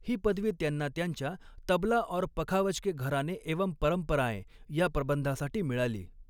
ही पदवी त्यांना त्यांच्या तबला और पखावज के घराने एवं परम्पराएं या प्रबंधासाठी मिळाली.